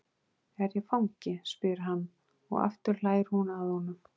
Er ég fangi? spyr hann, og aftur hlær hún að honum.